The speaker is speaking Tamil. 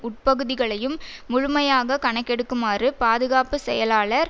உட்பகுதிகளையும் முழுமையாக கணக்கெடுக்குமாறு பாதுகாப்பு செயலாளர்